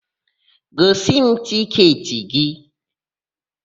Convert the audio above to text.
Gosi m tịketị gị!